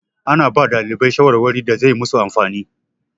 Ana ba ɗalibai shawarwari da zai masu amfani.